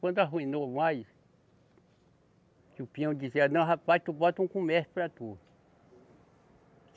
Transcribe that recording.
Quando arruinou mais, que o peão dizia, não, rapaz, tu bota um comércio para tu.